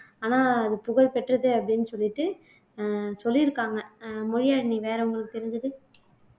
ஆனா அது புகழ் பெற்றது அப்படின்னு சொல்லிட்டு அஹ் சொல்லியிருக்காங்க அஹ் மொழியாழினி வேற உங்களுக்கு தெரிஞ்சது